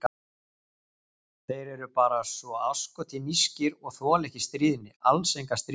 Þeir eru bara svo asskoti nískir, og þola ekki stríðni, alls enga stríðni.